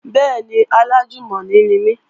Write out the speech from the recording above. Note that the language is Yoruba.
Bẹ́ẹ̀ni, alájùmọ̀ni ni mí